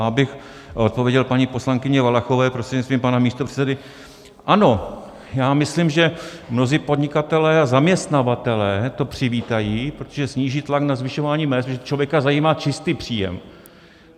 A abych odpověděl paní poslankyni Valachové prostřednictvím pana místopředsedy, ano, já myslím, že mnozí podnikatelé a zaměstnavatelé to přivítají, protože sníží tlak na zvyšování mezd, protože člověka zajímá čistý příjem.